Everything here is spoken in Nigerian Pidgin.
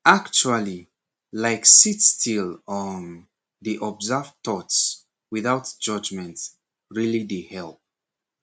actually like sit still um dey observe thoughts without judgment really dey help